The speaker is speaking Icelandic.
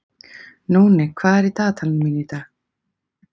Nóni, hvað er í dagatalinu mínu í dag?